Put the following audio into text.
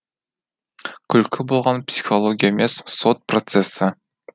күлкі болған психология емес сот процесі